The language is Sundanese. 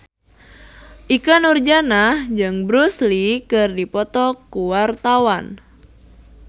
Ikke Nurjanah jeung Bruce Lee keur dipoto ku wartawan